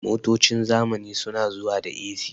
Motocin zamani su na zuwa da "A.C"